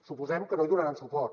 suposem que no hi donaran suport